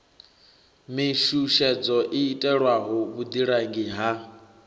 mishushedzo i itelwaho vhuḓilangi ha